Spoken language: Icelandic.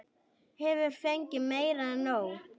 Hefur fengið meira en nóg.